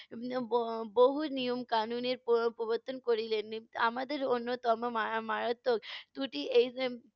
ব~ বহু নিয়ম-কানুনের প~ প্রবর্তন করিলেন। আমাদের অন্যতম মা~ মারাত্বক ত্রুটি এই